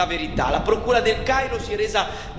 L'Italia non smette di pretendere la verità.